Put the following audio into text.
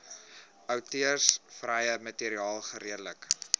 outeursregvrye materiaal geredelik